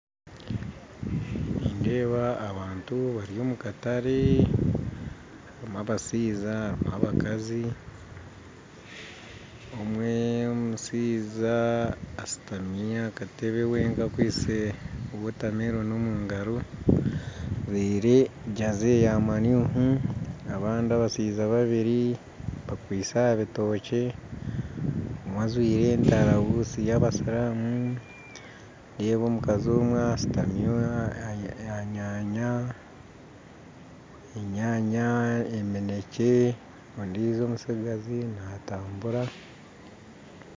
Nindeeba abantu bari omu katare. Harimu abashaija harimu abakazi. Omwe omushaija asitami aha katebe wenka akwaitse wotameloni omu ngaro ajwaire jersey ya ManU abandi abashaija babiri bakwaitse aha bitookye, omwe ajwaire entarabusi y'abasiramu, ndeeba omukazi omwe ashutami aha nyanya, enyaanya, eminekye, ondijo omutsigazi naatambura.